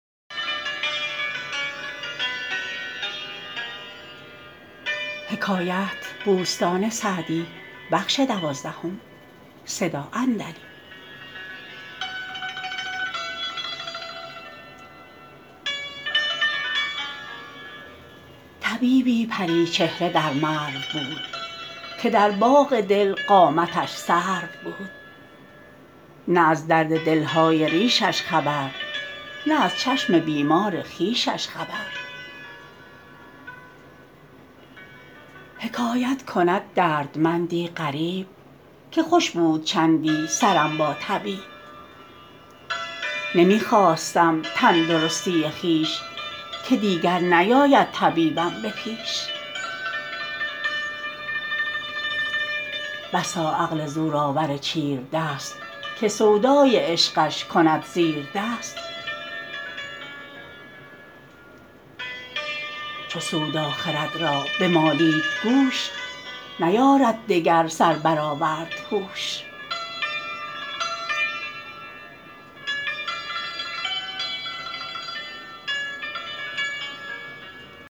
طبیبی پری چهره در مرو بود که در باغ دل قامتش سرو بود نه از درد دل های ریشش خبر نه از چشم بیمار خویشش خبر حکایت کند دردمندی غریب که خوش بود چندی سرم با طبیب نمی خواستم تندرستی خویش که دیگر نیاید طبیبم به پیش بسا عقل زورآور چیردست که سودای عشقش کند زیردست چو سودا خرد را بمالید گوش نیارد دگر سر برآورد هوش